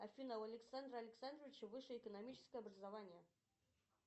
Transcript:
афина у александра александровича высшее экономическое образование